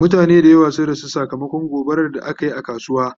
mutane da yawa sun rasu sakamakon gobarar da akayi a kasuwa